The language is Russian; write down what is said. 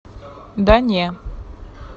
да не